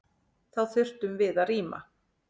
Þá þurftum við að rýma.